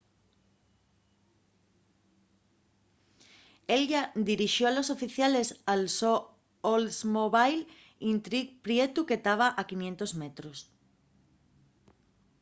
ella dirixó a los oficiales al so oldsmobile intrigue prietu que taba a 500 metros